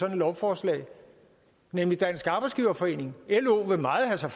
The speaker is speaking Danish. et lovforslag nemlig dansk arbejdsgiverforening lo vil meget have sig